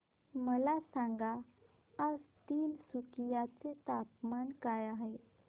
मला सांगा आज तिनसुकिया चे तापमान काय आहे